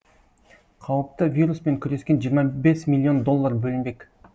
қауіпті вируспен күрескен жиырма бес миллион доллар бөлінбек